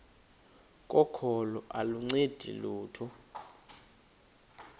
kokholo aluncedi lutho